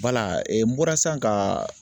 n bɔra sisan ka